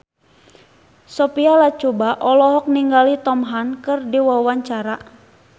Sophia Latjuba olohok ningali Tom Hanks keur diwawancara